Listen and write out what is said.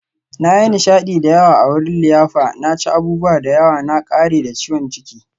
Na yi nishadi da yawa a wurin liyafa, na ci abubuwa da yawa, na ƙare da ciwon ciki.